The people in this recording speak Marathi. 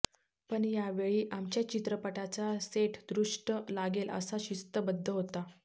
पण यावेळी आमच्या चित्रपटाचा सेट दृष्ट लागेल असा शिस्तबद्ध होता